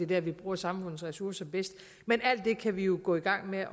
der vi bruger samfundets ressourcer bedst men alt det kan vi jo gå i gang med at